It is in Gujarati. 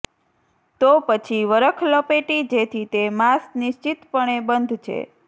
તો પછી વરખ લપેટી જેથી તે માંસ નિશ્ચિતપણે બંધ છે